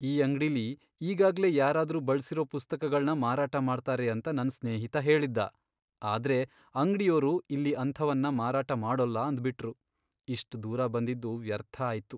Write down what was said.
ಈ ಅಂಗ್ಡಿಲಿ ಈಗಾಗ್ಲೇ ಯಾರಾದ್ರೂ ಬಳ್ಸಿರೋ ಪುಸ್ತಕಗಳ್ನ ಮಾರಾಟ ಮಾಡ್ತಾರೆ ಅಂತ ನನ್ ಸ್ನೇಹಿತ ಹೇಳಿದ್ದ. ಆದ್ರೆ ಅಂಗ್ಡಿಯೋರು ಇಲ್ಲಿ ಅಂಥವನ್ನ ಮಾರಾಟ ಮಾಡೋಲ್ಲ ಅಂದ್ಬಿಟ್ರು. ಇಷ್ಟ್ ದೂರ ಬಂದಿದ್ದು ವ್ಯರ್ಥ ಆಯ್ತು.